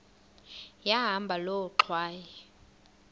yahamba loo ngxwayi